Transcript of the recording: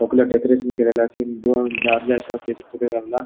डेकोरैशन केलेले आसा दादले आसा तेजे फुड़े रावला.